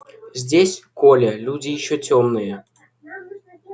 здесь коля люди ещё тёмные